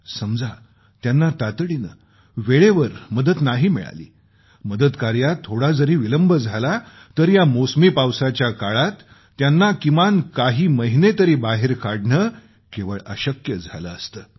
समजा त्यांना तातडीनं वेळेवर मदत नाही मिळाली मदतकार्यात थोडा जरी विलंब झाला तर या मौसमी पावसाच्या काळात त्यांना किमान काही महिने तरी बाहेर काढणं केवळ अशक्य झालं असतं